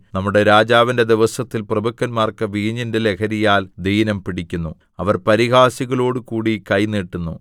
നമ്മുടെ രാജാവിന്റെ ദിവസത്തിൽ പ്രഭുക്കന്മാർക്ക് വീഞ്ഞിന്റെ ലഹരിയാൽ ദീനം പിടിക്കുന്നു അവൻ പരിഹാസികളോടുകൂടി കൈ നീട്ടുന്നു